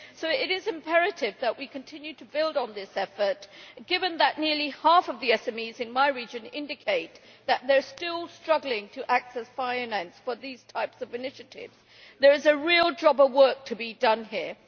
So it is imperative that we continue to build on this effort, given that nearly half of the SMEs in my region indicate that they are still struggling to access finance for these types of initiatives. There is a real job of work to be done here.